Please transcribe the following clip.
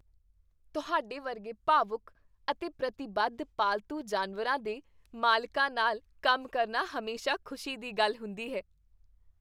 ਤੁਹਾਡੇ ਵਰਗੇ ਭਾਵੁਕ ਅਤੇ ਪ੍ਰਤੀਬੱਧ ਪਾਲਤੂ ਜਾਨਵਰਾਂ ਦੇ ਮਾਲਕਾਂ ਨਾਲ ਕੰਮ ਕਰਨਾ ਹਮੇਸ਼ਾ ਖੁਸ਼ੀ ਦੀ ਗੱਲ ਹੁੰਦੀ ਹੈ।